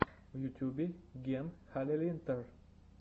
в ютубе ген халилинтар